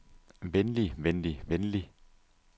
venlig venlig venlig